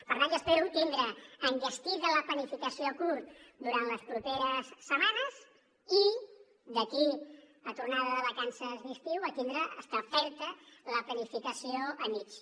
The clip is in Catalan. per tant jo espero tindre enllestida la planificació a curt durant les properes setmanes i d’aquí a la tornada de vacances d’estiu tindre establerta la planificació a mitjà